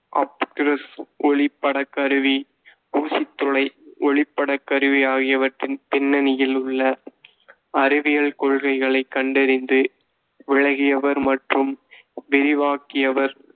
அப்கிருஸ் ஒளிப்படக் கருவி, ஊசித் துளை ஒளிப்படக் கருவி ஆகியவற்றின் பின்னணியில் உள்ள அறிவியல் கொள்கைகளைக் கண்டறிந்து, விளகியவர் மற்றும் விரிவாக்கியவர்.